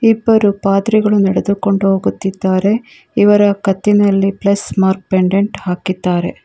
ಇಬ್ಬರು ಪಾದ್ರಿಗಳು ನೆಡೆದುಕೊಂಡು ಹೋಗುತ್ತಿದ್ದಾರೆ ಇವರ ಕತ್ತಿನಲ್ಲಿ ಪ್ಲಸ್ ಮಾರ್ಕ್ ಪೆಂಡೆಂಟ್ ಹಾಕಿದ್ದಾರೆ.